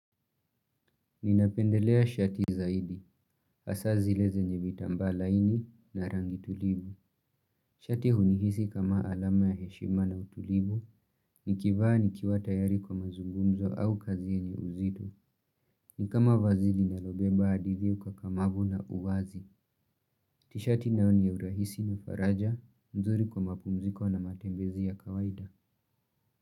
Ninapendelea shati zaidi, hasa zile zenye vitambaa laini na rangi tulivu Shati hunihisi kama alama ya heshima na utulivu, nikivaa nikiwa tayari kwa mazungumzo au kazi yenye uzito Nikama vazi linalobeba adili ukakamavu na uwazi Tishati nayo niya urahisi na faraja, nzuri kwa mapumziko na matembezi ya kawaida.